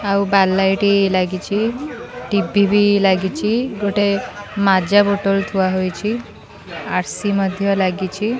ଆଉ bar light ଲାଗିଚି TV ବି ଲାଗିଚି ଗୋଟେ ମାଜା ବୋଟଲ ଥୁଆ ହୋଇଚି ଆର୍_ସି ମଧ୍ୟ ଲାଗିଚି।